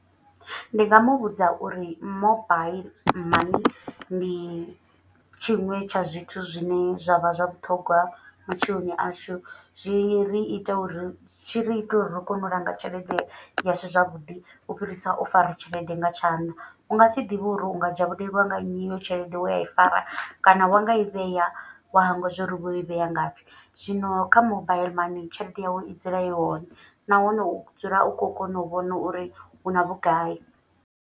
Ndi nga muvhudza uri mobile mani ndi tshiṅwe tsha zwithu zwine zwa vha zwa vhuṱhogwa matshiloni ashu. Zwi ri ita uri tshi ri ite uri ri kone u langa tshelede ya shu zwavhuḓi. U fhirisa u fara tshelede nga tshanḓa u nga si ḓivhe uri u nga dzhavhulelwa nga nnyi i yo tshelede we a i fara. Kana wa nga i vhea wa hangwa zwo uri vho i vhea ngapfhi. Zwino kha mobile heiḽani tshelede yau i dzula i hone nahone u dzula u kho kona u vhona uri una vhugai.